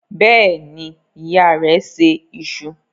Bẹ́ẹ̀ ni, ìyá rẹ̀ se iṣu.